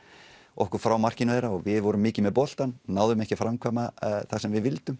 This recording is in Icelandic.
okkur frá markinu þeirra við vorum mikið með boltann náðum ekki að framkvæma það sem við vildum